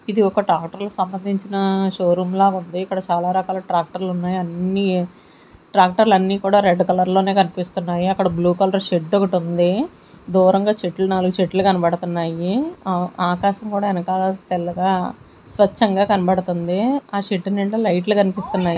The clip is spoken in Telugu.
ఇది ఒక ట్రాక్టర్ సంబంధించిన షోరూమ్ లాగా ఉంది ఇక్కడ చాలా రకాల ట్రాక్టర్లు ఉన్నాయి అన్ని ట్రాక్టర్లు అన్నీ కూడా రెడ్ కలర్ లోనే కనిపిస్తున్నాయి అక్కడ బ్లూ కలర్ షెడ్ ఒకటి ఉంది దూరంగా చెట్లు నాలుగు చెట్లు కనబడుతున్నాయి ఆకాశం కూడా వెనకాల తెల్లగా స్వచ్ఛంగా కనబడుతుంది ఆ షెడ్ నిండ లైట్లు కనిపిస్తున్నాయి.